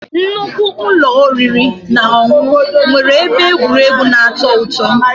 Nnukwu ụlọ oriri na ọṅụṅụ nwere ebe egwuregwu na-atọ ụtọ